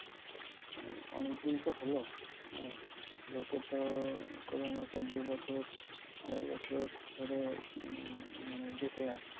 অনেকদিন তো হলো? মানে লোকে তো corona কে দুবছর আড়াই বছর ধরে উম মানে দেখে আসছে।